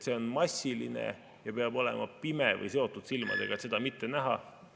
See on massiline ja peab olema pime või seotud silmadega, et seda mitte näha …